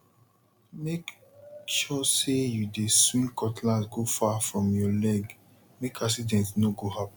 make sure say you dey swing cutlass go far from your legmake accident no go happen